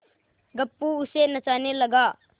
गप्पू उसे नचाने लगा